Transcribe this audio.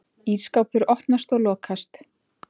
Ísskápur opnast og lokast.